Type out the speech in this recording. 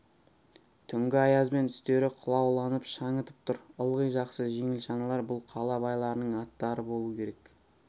түнгі аязбен үстері қылауланып шаңытып тұр ылғи жақсы жеңіл шаналар бұл қала байларының аттары болу керек